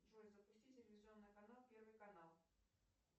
джой запусти телевизионный канал первый канал